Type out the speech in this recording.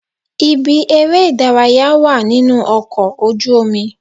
Ibi eré ìdárayá wà nínú ọkọ̀ ojú omi.